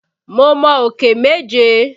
Mo mọ òkè méje.